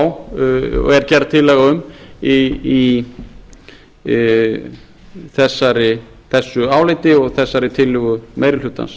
er að fá og er gerð tillaga um í þessu áliti og þessari tillögu meiri hlutans